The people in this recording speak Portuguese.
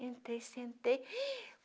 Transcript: Entrei, sentei. rim